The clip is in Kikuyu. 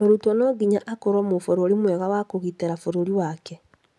Mũrutwo no nginya akorwo mũbũrũri mwega wa kũgitĩra bũrũri wake